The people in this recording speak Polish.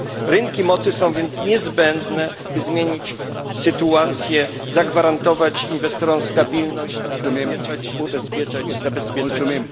Rynki mocy są więc niezbędne, by zmienić sytuację, zagwarantować inwestorom stabilność i zabezpieczać dostawy.